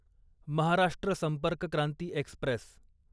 Maharashtra Sampark Kranti Express